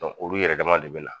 olu yɛrɛ dama de bina